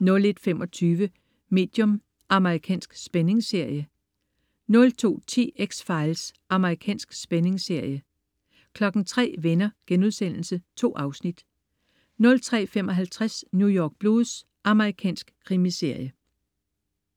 01.25 Medium. Amerikansk spændingsserie 02.10 X-Files. Amerikansk spændingsserie 03.00 Venner.* 2 afsnit 03.55 New York Blues. Amerikansk krimiserie